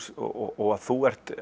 og að þú ert